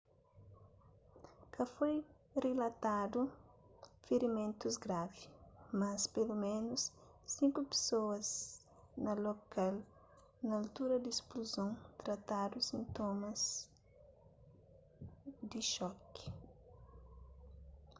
ka foi rilatadu firimentus gravi mas peloménus sinku pesoas na lokal na altura di ispluzon tratadu sintomas di xoki